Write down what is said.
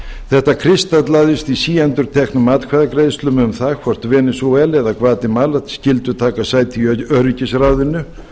þetta kristallaðist í síendurteknum atkvæðagreiðslum um það hvort venesúela eða gvatemala skyldu taka sæti í öryggisráðinu